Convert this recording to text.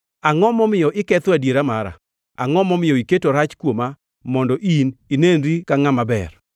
“Angʼo momiyo iketho adiera mara? Angʼo momiyo iketo rach kuoma mondo in inenri ka ngʼama ber?